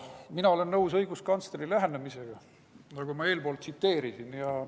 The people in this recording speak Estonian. Mina olen nõus õiguskantsleri lähenemisega, mida ma eespool tsiteerisin.